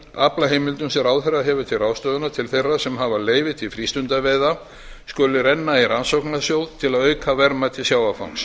aflaheimildum sem ráðherra hefur til ráðstöfunar til þeirra sem hafa leyfi til frístundaveiða skuli renna í rannsóknarsjóð til að auka verðmæti sjávarfangs